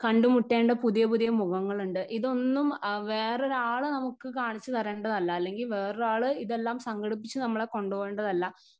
Speaker 1 കണ്ടു മുട്ടേണ്ട പുതിയ പുതിയ മുഖങ്ങളുണ്ട് ഇതൊന്നും അ വേറൊരാള് നമുക്ക് കാണിച്ചു തരേണ്ടതല്ല അല്ലെങ്കിൽ വേറെ ആള് ഇതെല്ലാം സംഘടിപ്പിച്ചു നമ്മളെ കൊണ്ടുപോകേണ്ടതല്ല.